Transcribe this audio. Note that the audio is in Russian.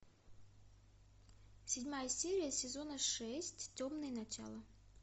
седьмая серия сезона шесть темные начала